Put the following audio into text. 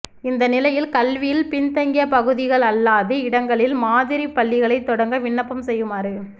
இந்த நிலையில் கல்வியில் பின்தங்கிய பகுதிகள் அல்லாத இடங்களில் மாதிரிப் பள்ளிகளைத் தொடங்க விண்ணப்பம் செய்யுமாறு